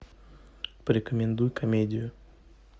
порекомендуй комедию